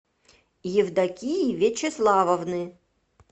евдокии вячеславовны